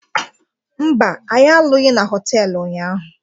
Mba, anyị alụghị na họtelụ ụnyaahụ